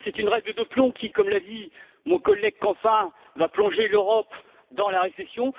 Parce que c'est une règle de plomb qui, comme l'a dit mon collègue Canfin, va plonger l'Europe dans la récession.